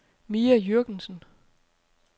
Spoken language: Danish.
Mia Jürgensen